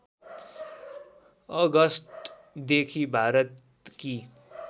अगस्टदेखि भारतकी